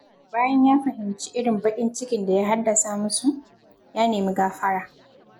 Bayan ya fahimci irin baƙin cikin da ya haddasa musu, ya nemi gafara.